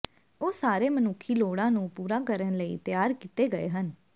ਉਹ ਸਾਰੇ ਮਨੁੱਖੀ ਲੋੜਾਂ ਨੂੰ ਪੂਰਾ ਕਰਨ ਲਈ ਤਿਆਰ ਕੀਤੇ ਗਏ ਹਨ